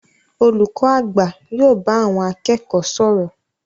Olùkọ àgbà yóò bá àwọn akẹ́kọ̀ọ́ sọ̀rọ̀.